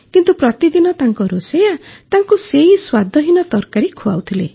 କିନ୍ତୁ ପ୍ରତିଦିନ ତାଙ୍କ ରୋଷେଇୟା ତାଙ୍କୁ ସେହି ସ୍ୱାଦହୀନ ତରକାରୀ ଖୁଆଉଥିଲେ